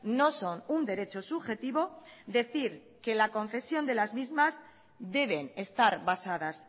no son un derecho subjetivo decir que la concesión de las mismas deben estar basadas